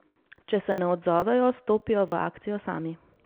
Če se ne odzovejo, stopijo v akcijo sami.